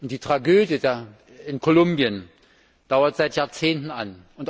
Die Tragödie in Kolumbien dauert seit Jahrzehnten an.